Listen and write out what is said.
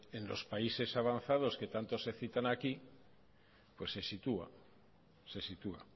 en los países avanzados que tanto se citan aquí pues se sitúa se sitúa